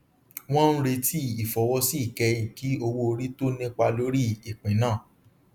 wọn ń retí ìfọwọsí ìkẹyìn kí owóorí tó nípa lórí ìpín náà